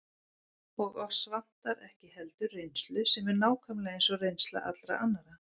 Og oss vantar ekki heldur reynslu, sem er nákvæmlega eins og reynsla allra annarra.